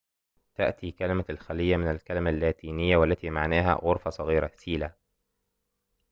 تأتي كلمة الخليّة من الكلمة اللاتينية cella والتي معناها غرفةٌ صغيرةٌ